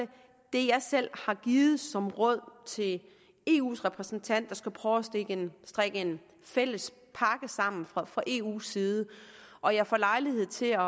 det jeg selv har givet som råd til eus repræsentant der skal prøve at strikke en fælles pakke sammen fra fra eu’s side og jeg får lejlighed til at